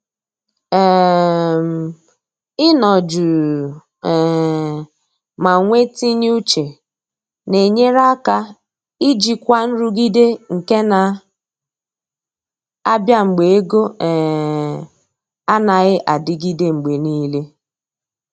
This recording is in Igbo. um Ị nọ jụụ um ma nwe tinye uche na enyere aka ijikwa nrụgide nke na abịa mgbe ego um anaghị adịgide mgbe niile